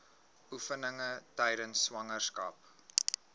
oefeninge tydens swangerskap